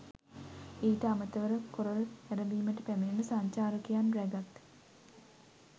ඊට අමතරව කොරල් නැරඹීමට පැමිණෙන සංචාරකයන් රැගත්